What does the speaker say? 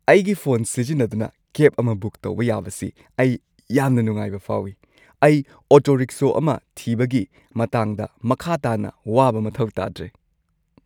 ꯑꯩꯒꯤ ꯐꯣꯟ ꯁꯤꯖꯤꯟꯅꯗꯨꯅ ꯀꯦꯕ ꯑꯃ ꯕꯨꯛ ꯇꯧꯕ ꯌꯥꯕꯁꯤ ꯑꯩ ꯌꯥꯝꯅ ꯅꯨꯡꯉꯥꯏꯕ ꯐꯥꯎꯏ꯫ ꯑꯩ ꯑꯣꯇꯣ-ꯔꯤꯛꯁꯣ ꯑꯃ ꯊꯤꯕꯒꯤ ꯃꯇꯥꯡꯗ ꯃꯈꯥ ꯇꯥꯅ ꯋꯥꯕ ꯃꯊꯧ ꯇꯥꯗ꯭ꯔꯦ꯫